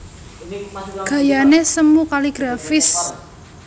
Gayané semu kaligrafis